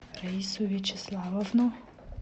раису вячеславовну